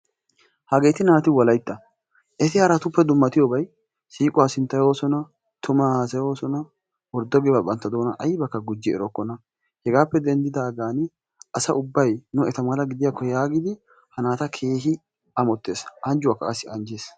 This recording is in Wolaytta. Hageeti naati Wolaytta. Eti haraatuppe dummatiyobay siiquwa sinttayoosona, tumaa haasayoosona, worddo giyobaa bantta doonan aybakka gujji erokkona. Hegaappe denddidaagaani asa ubbay nu eta mala gidiyakko yaagidi ha naata keehi amottees. Anjjuwakka qassi anjjees.